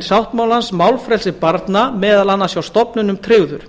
sáttmálans málfrelsi barna meðal annars hjá stofnunum tryggður